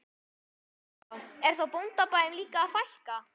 Kristján: Er þá bóndabæjum líka að fækka?